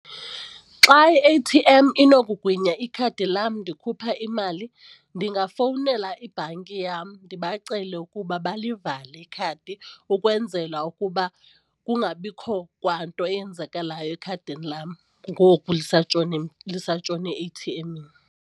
Xa i-A-T_M inokugwinya ikhadi lam ndikhupha imali ndingafowunela ibhanki yam ndibacele ukuba balivale ikhadi ukwenzela ukuba kungabikho kwanto eyenzakalayo ekhadini lam ngoku lisatshone e-eyithiemini.